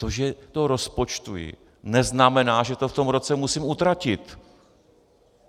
To, že to rozpočtuji, neznamená, že to v tom roce musím utratit.